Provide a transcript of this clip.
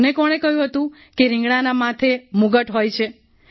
તને કોણે કહ્યું હતું કે રિંગણાના માથે મુગટ હોય છે